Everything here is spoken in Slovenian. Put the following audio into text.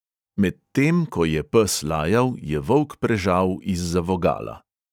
Medtem ko je pes lajal, je volk prežal izza vogala.